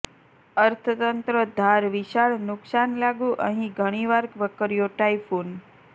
અર્થતંત્ર ધાર વિશાળ નુકસાન લાગુ અહીં ઘણી વાર વકર્યો ટાયફૂન